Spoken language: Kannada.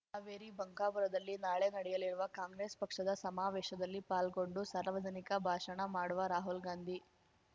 ಹಾವೇರಿ ಬಂಕಾಪುರದಲ್ಲಿ ನಾಳೆ ನಡೆಯಲಿರುವ ಕಾಂಗ್ರೆಸ್ ಪಕ್ಷದ ಸಮಾವೇಶದಲ್ಲಿ ಪಾಲ್ಗೊಂಡು ಸಾರ್ವಜನಿಕ ಭಾಷಣ ಮಾಡುವ ರಾಹುಲ್‌ಗಾಂಧಿ